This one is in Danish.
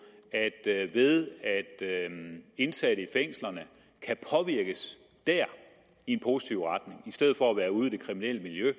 at ved at indsatte i fængslerne kan påvirkes der i en positiv retning i stedet for at være ude i det kriminelle miljø